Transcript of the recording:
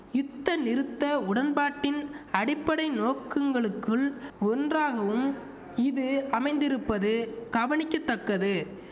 யுத்த நிறுத்த உடன்பாட்டின் அடிப்படை நோக்குங்களுக்குள் ஒன்றாகவும் இது அமைந்திருப்பது கவனிக்க தக்கது